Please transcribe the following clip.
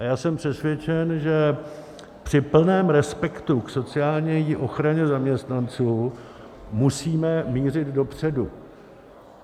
A já jsem přesvědčen, že při plném respektu k sociální ochraně zaměstnanců musíme mířit dopředu.